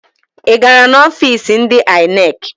Ị gara n'ọfiisi ndị INEC?